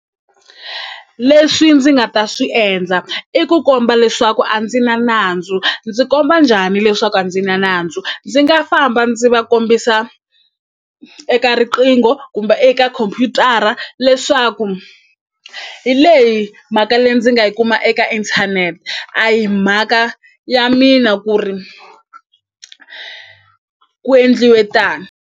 Leswi ndzi nga ta swi endla i ku komba leswaku a ndzi na nandzu ndzi komba njhani leswaku a ndzi na nandzu ndzi nga famba ndzi va kombisa eka riqingho kumbe eka khompyutara leswaku hi leyi mhaka leyi ndzi nga yi kuma eka inthanete a hi mhaka ya mina ku ri ku endliwe tano.